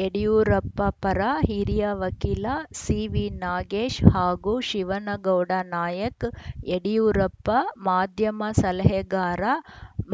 ಯಡಿಯೂರಪ್ಪ ಪರ ಹಿರಿಯ ವಕೀಲ ಸಿವಿನಾಗೇಶ್‌ ಹಾಗೂ ಶಿವನಗೌಡ ನಾಯಕ್‌ಯಡಿಯೂರಪ್ಪ ಮಾಧ್ಯಮ ಸಲಹೆಗಾರ